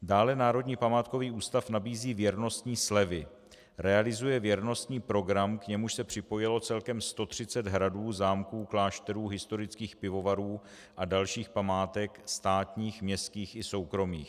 Dále Národní památkový ústav nabízí věrnostní slevy, realizuje věrnostní program, k němuž se připojilo celkem 130 hradů, zámků, klášterů, historických pivovarů a dalších památek státních, městských i soukromých.